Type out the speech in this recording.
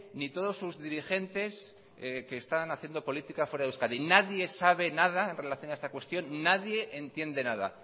ni todos sus dirigentes que están haciendo política fuera de euskadi nadie sabe nada en relación a esta cuestión nadie entiende nada